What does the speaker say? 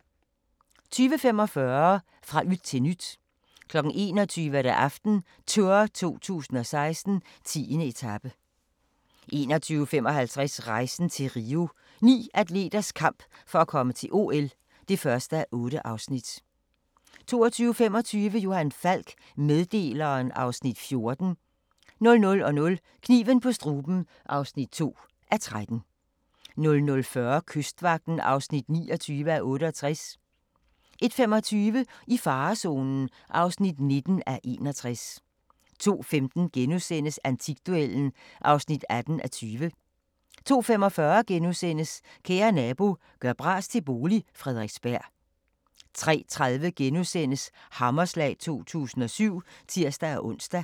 20:45: Fra yt til nyt 21:00: AftenTour 2016: 10. etape 21:55: Rejsen til Rio – Ni atleters kamp for at komme til OL (1:8) 22:25: Johan Falk: Meddeleren (Afs. 14) 00:00: Kniven på struben (2:13) 00:40: Kystvagten (29:68) 01:25: I farezonen (19:61) 02:15: Antikduellen (18:20)* 02:45: Kære nabo – gør bras til bolig – Frederiksberg * 03:30: Hammerslag 2007 *(tir-ons)